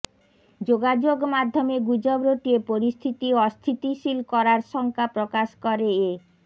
যোগাযোগমাধ্যমে গুজব রটিয়ে পরিস্থিতি অস্থিতিশীল করার শঙ্কা প্রকাশ করে এ